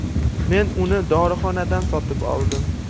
Men uni dorixonadan sotib oldim.